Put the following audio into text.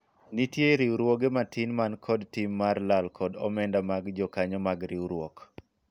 nitie riwruoge matin man kod tim mar lal kod omenda mag jokanyo mag riwruok